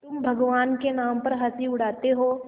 तुम भगवान के नाम पर हँसी उड़ाते हो